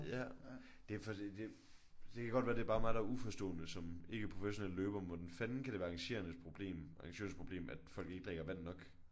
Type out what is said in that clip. Ja. Det er fordi det det kan godt være det bare er mig der er uforstående som ikke-professionel løber men hvordan fanden kan det være arrangørernes problem arrangørernes problem at folk ikke drikker vand nok?